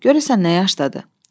Görəsən nə yaşdadır?